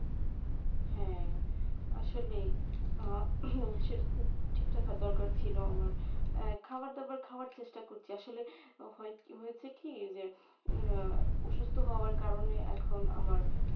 হ্যাঁ আসলেই আহ সেটা ঠিক রাখা দরকার ছিল আমার আহ খাবার দাবার খাওয়ার চেষ্টা করছি আসলে হয়েছে কি যে উম অসুস্থ হওয়ার কারনে এখন আমার,